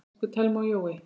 Elsku Thelma og Jói.